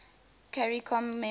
caricom members